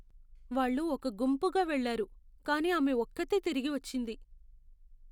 వాళ్ళు ఒక గుంపుగా వెళ్ళారు, కానీ ఆమె ఒక్కతే తిరిగి వచ్చింది..